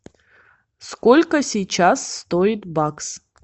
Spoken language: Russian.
сколько сейчас стоит бакс